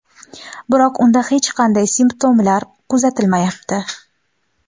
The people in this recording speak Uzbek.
Biroq unda hech qanday simptomlar kuzatilmayapti.